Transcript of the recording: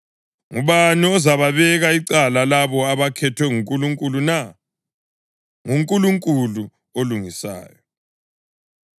Ngubani ozababeka icala labo abakhethwe nguNkulunkulu na? NguNkulunkulu olungisayo.